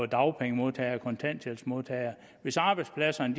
dagpengemodtagere og kontanthjælpsmodtagere hvis arbejdspladserne